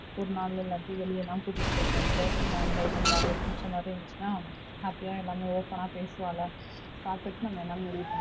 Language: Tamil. ஒரு நாள் இல்லாட்டி வெளியலாம் கூட்டிட்டு போயிட்டு வந்திட்டு சும்மா enjoy பண்ணிட்டு அவளுக்கு புடிச்ச மாறி இருந்துச்சுனா happy யா எல்லாமே open னா பேசுவாள பாத்துட்டு நம்ம என்னன்னு முடிவு பண்ணிக்கலாம்.